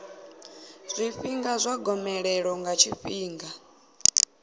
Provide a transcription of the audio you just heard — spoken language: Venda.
zwifhinga zwa gomelelo ḽa tshifhinga